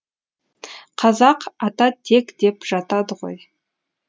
қазақ ата тек деп жатады ғой